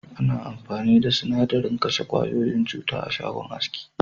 Ana amfani da sinadarin kashe ƙwayoyin cuta a'shagon aski.